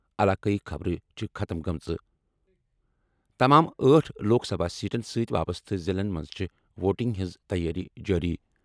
علاقٲیی خبرٕ چھِ ختٕم گٔمٕژ۔ تمام آٹھ لوک سبھا سیٹن سٕتۍ وابستہٕ ضِلعن منٛز چھِ ووٹنگ ہٕنٛز تیٲری جٲری۔